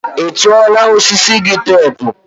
ị tụọla osisi gị teepu?